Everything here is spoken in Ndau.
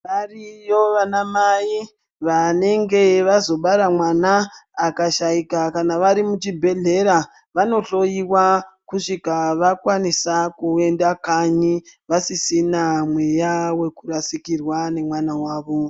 Variyo vanamai vanenge vazobara mwana akashaika kana vari muchibhehlera vanohloyiwa kusvika vakwanisa kuenda kani vasisina mweya wekurasikirwa nemwana wavo.